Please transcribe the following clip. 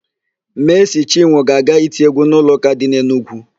Meesị Chinwọ ga-aga iti égwú n'ụlọụ́kà dị n'Enugwu.